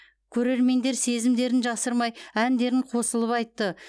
көрермендер сезімдерін жасырмай әндерін қосылып айтты